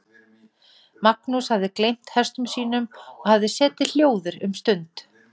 Magnús hafði gleymt hestum sínum og hafði setið hljóður um stund.